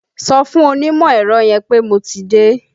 Sọ fún onímọ̀ ẹ̀rọ yẹn pé mo ti dé!